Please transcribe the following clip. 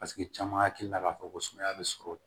Paseke caman hakili la k'a fɔ ko sumaya be sɔrɔ